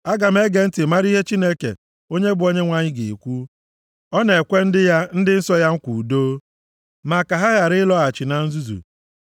Aga m ege ntị mara ihe Chineke, onye bụ Onyenwe anyị ga-ekwu; ọ na-ekwe ndị ya, ndị nsọ ya nkwa udo, ma ka ha ghara ịlọghachi na nzuzu.